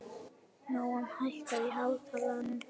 Nóam, hækkaðu í hátalaranum.